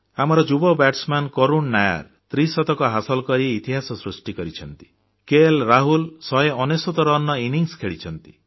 ଆମର ଯୁବ ବ୍ୟାଟସମ୍ୟାନ କରୁଣ ନାୟାର ତ୍ରିଶତକ ହାସଲ କରି ଇତିହାସ ସୃଷ୍ଟି କରିଛନ୍ତି କେଏଲରାହୁଲ 199 ରନର ଇନିଂସ ଖେଳିଛନ୍ତି